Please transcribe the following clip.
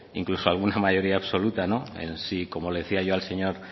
incluso alguna mayoría absoluta en sí como le decía yo al señor